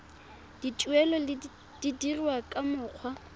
dituelo di dirwa ka mokgwa